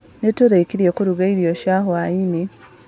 Nĩtũrĩkirie kũruga irio cia hwainĩ.